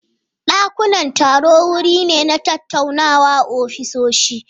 Dakunan taro wuri ne na tattaunawa a ofisoshi.